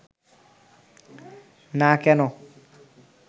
না কেন